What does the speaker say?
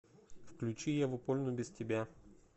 включи еву польну без тебя